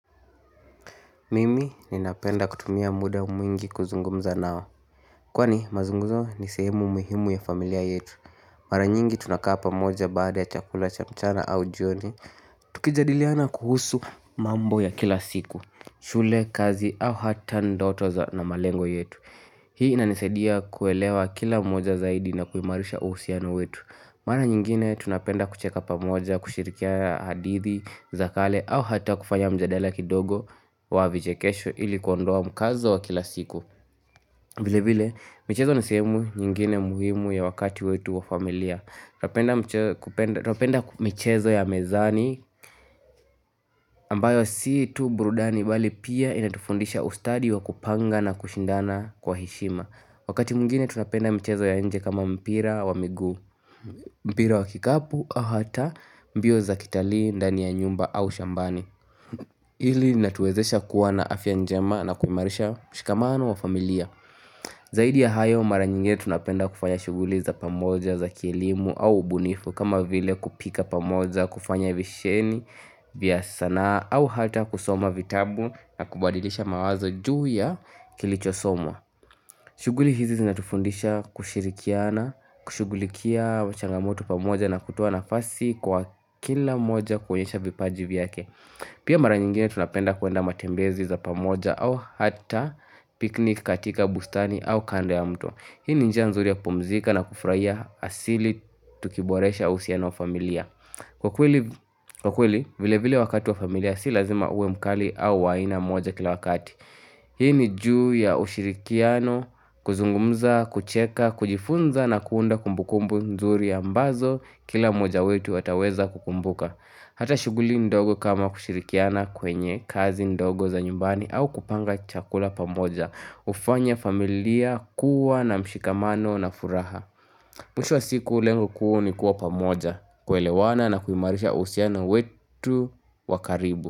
Mimi ni napenda kutumia muda mwingi kuzungumza nao. Kwani mazunguzo ni sehemu muhimu ya familia yetu. Mara nyingi tunakaa pa moja baada ya chakula cha mchana au jioni. Tukijadiliana kuhusu mambo ya kila siku. Shule, kazi au hata ndoto za na malengo yetu. Hii ina nisaidia kuelewa kila mmoja zaidi na kuimarisha uhusiano wetu. Mara nyingine tunapenda kucheka pamoja, kushirikiana hadithi, zakale au hata kufanya mjadala kidogo wa vichekesho ili kuondoa mkazo wa kila siku vile vile, michezo ni sehemu nyingine muhimu ya wakati wetu wa familia Twapenda michezo ya mezani ambayo si tu burudani bali pia inatufundisha ustadi wa kupanga na kushindana kwa heshima Wakati mwingine tunapenda mchezo ya nje kama mpira wa miguu mpira wa kikapu au hata mbio za kitalii, ndani ya nyumba au shambani ili natuwezesha kuwa na afyanjema na kuimarisha mshikamano wa familia Zaidi ya hayo mara nyingine tunapenda kufanya shuguli za pamoja za kilimo au ubunifu kama vile kupika pamoja, kufanya visheni, vya sanaa au hata kusoma vitabu na kubadilisha mawazo juu ya kilichosoma shuguli hizi zinatufundisha kushirikiana, kushugulikia changamoto pamoja na kutoa na fasi kwa kila mmoja kuonyesha vipaji vyake Pia mara nyingine tunapenda kuenda matembezi za pamoja au hata picnic katika bustani au kando ya mto Hii ni njia nzuri ya pumzika na kufraia asili tukiboresha uhusiano wa familia Kwa kweli vile vile wakati wa familia si lazima uwe mkali au wa aina moja kila wakati Hii ni juu ya ushirikiano, kuzungumza, kucheka, kujifunza na kuunda kumbukumbu nzuri ambazo kila moja wetu ataweza kukumbuka. Hata shuguli ndogo kama kushirikiana kwenye, kazi ndogo za nyumbani au kupanga chakula pamoja. Ufanya familia, kuwa na mshikamano na furaha. Mwisho wa siku lengo kuu ni kuwa pamoja, kuelewana na kuimarisha uhusiano wetu wakaribu.